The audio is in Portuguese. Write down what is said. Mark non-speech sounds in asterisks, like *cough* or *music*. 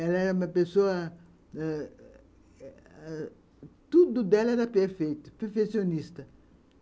Ela era uma pessoa... *unintelligible* Tudo dela era perfeito, perfeccionista.